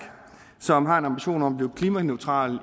som har en ambition om at blive klimaneutral